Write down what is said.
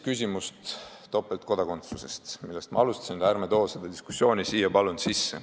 Küsimus on topeltkodakondsuses, millest ma alustasin, aga palun ärme toome seda diskussiooni siia sisse.